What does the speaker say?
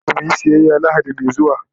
mahaifinmu zaya kaimu muyi siyaya lahadi Mai zuwa